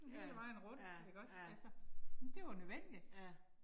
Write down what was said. Ja, ja, ja. Ja